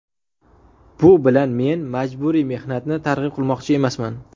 Bu bilan men majburiy mehnatni targ‘ib qilmoqchi emasman.